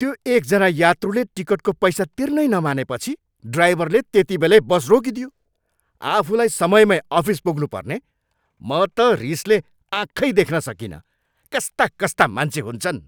त्यो एकजना यात्रुले टिकटको पैसा तिर्नै नमानेपछि ड्राभरले त्यतिबेलै बस रोकिदियो। आफूलाई समयमै अफिस पुग्नुपर्ने, म त रिसले आँखै देख्न सकिनँ। कस्ता कस्ता मान्छे हुन्छन्!